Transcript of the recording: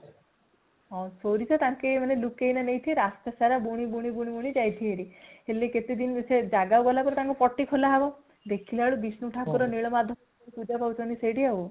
ହଁ ସୋରିଷ ତାଙ୍କେ ମାନେ ଲୁଚେଇକି ନେଇଥିବେ ରାସ୍ତା ସାରା ବୁଣି ବୁଣି ଯାଇଥିବେ ହେରି ହେଲେ ସେ ଜାଗାକୁ ଗଲା ପରେ ତାଙ୍କର ପଟି ଖୋଲା ହେବ ଦେଖିଲା ବେଳେ ବିଷ୍ନୁ ଠାକୁର ନୀଳମାଧଵ ରୂପରେ ପୂଜା ପାଉଛନ୍ତି ସେଠି ଆଉ |